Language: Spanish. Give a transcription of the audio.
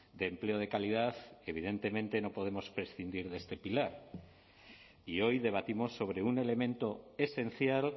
de empleo de calidad evidentemente no podemos prescindir de este pilar y hoy debatimos sobre un elemento esencial